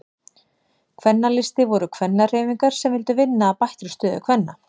Kvennaframboð og Kvennalisti voru kvennahreyfingar sem vildu vinna að bættri stöðu kvenna.